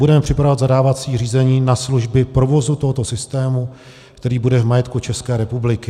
Budeme připravovat zadávací řízení na služby provozu tohoto systému, který bude v majetku České republiky.